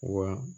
Wa